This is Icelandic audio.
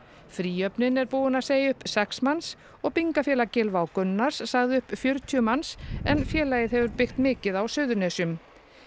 fríhöfnin er búin að segja upp sex manns og Byggingafélag Gylfa og Gunnars sagði upp fjörutíu manns en félagið hefur byggt mikið á Suðurnesjum